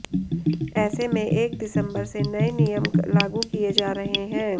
ऐसे में एक दिसंबर से नए नियम लागू किए जा रहे हैं